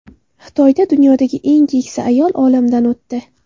Xitoyda dunyodagi eng keksa ayol olamdan o‘tdi.